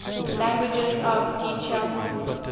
languages of djibouti